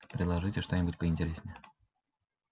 предложите что-нибудь поинтереснее